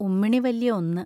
ഉമ്മിണി വല്യ ഒന്ന്